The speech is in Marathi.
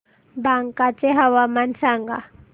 बांका चे हवामान सांगा